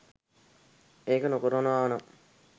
ඒක නොකරනවානම්